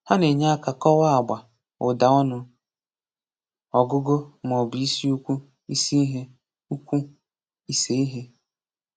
Ha na-enye aka kọwaa agba, ụda, ọnu, ọgụgụ, ma ọ bụ isi ukwu/isi ihe. ukwu/isi ihe.